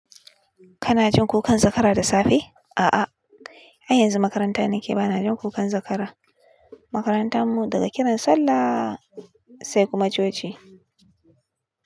Kana jin kukan zakara da safe? A'a har yanzu makaranta nake, bana jin kukan zakara. Makarantar mu daga kiran sallah sai kuma coci.